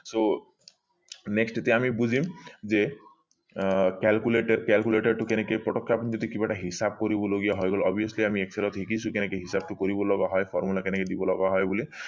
so next এতিয়া আমি বুজিম যে আহ calculated calculate টো কেনেকে পতকে আপুনি যদি কিবা এটা হিচাপ কৰিব লগিয়া হয় obviously আমি excel ত শিকিছো কেনেকে হিচাপটো কৰিব লগা হয় formula কেনেকে দিব লগা হয় বুলি